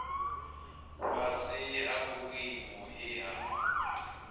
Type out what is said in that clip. fhasi ha vhuimo he ha